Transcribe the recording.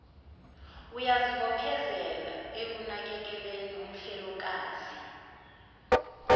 uyazibophezela ekunakekeleni umfelokazi